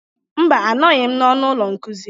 Mba, anọghị m n'ọnụ ụlọ nkuzi.